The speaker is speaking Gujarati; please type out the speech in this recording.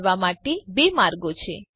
આ કરવા માટે બે માર્ગો છે